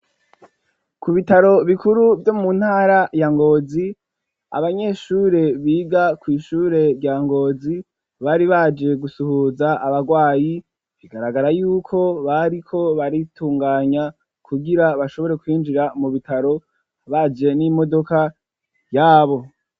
Ku bitaro bikuru vyo mu ntara ya Ngozi abanyeshure biga ku ishure rya Ngozi bari baje gusuhuza abagwayi bigaragara yuko bari ko baritunganya kugira bashobore kwinjira mu bitaro baje n'imodoka yabo.